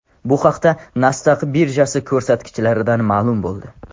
Bu haqda Nasdaq birjasi ko‘rsatkichlaridan ma’lum bo‘ldi .